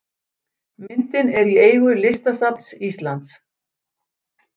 Myndin er í eigu Listasafns Íslands.